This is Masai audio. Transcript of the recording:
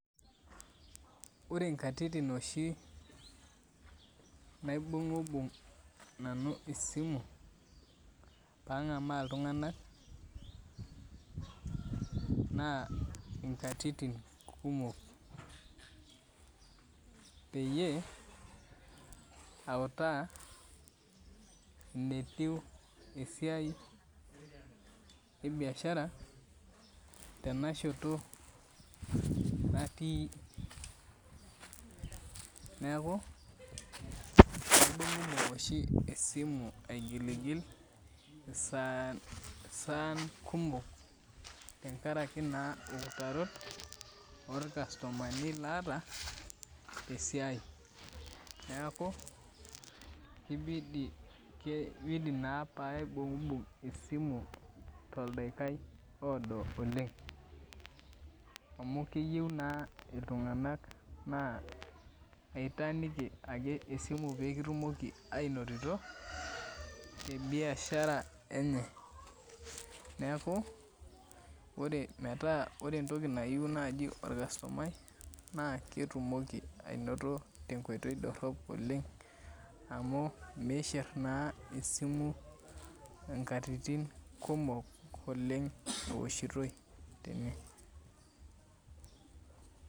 Ore nkatitin oshi naibunhbumg esimu pangamaa ltunganak na nkatitin kumok peyie autaa netiu esiai ebiashara tenashoto natii neaku kaibungibung esimu saitin kumok tenkaraki na eutaro orkastomaiaata tesiai neaku kibidi paibungbumg esimu toldaikai oodo oleng amu keyieu na ltunganak na itaaniki esimu pekitum oki ainototo neaku ore metaa ore Entoki nayieu nai orkastomai naketumoki ainoto tenkoitoi dorop oleng amu mishir na esimu nkatitin kumok oleng eoshitoe tene.